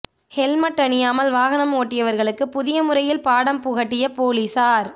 helmet அணியாமல் வாகனம் ஒட்டியவர்களுக்கு புதிய முறையில் பாடம் புகட்டிய போலீசார்